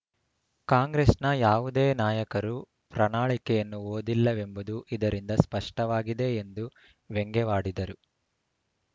ಕಾಂಗ್ರೆಸ್‌ನ ಯಾವುದೇ ನಾಯಕರು ಪ್ರಣಾಳಿಕೆಯನ್ನು ಓದಿಲ್ಲವೆಂಬುದು ಇದರಿಂದ ಸ್ಪಷ್ಟವಾಗಿದೆ ಎಂದು ವ್ಯಂಗ್ಯವಾಡಿದರು